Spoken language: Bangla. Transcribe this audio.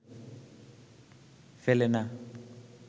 ফেলে না